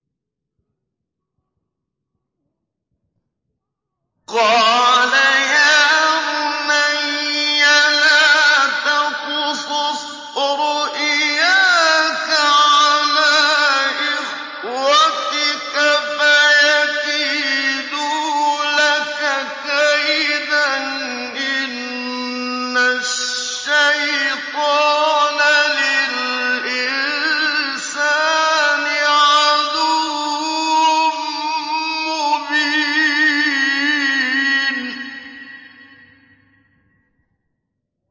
قَالَ يَا بُنَيَّ لَا تَقْصُصْ رُؤْيَاكَ عَلَىٰ إِخْوَتِكَ فَيَكِيدُوا لَكَ كَيْدًا ۖ إِنَّ الشَّيْطَانَ لِلْإِنسَانِ عَدُوٌّ مُّبِينٌ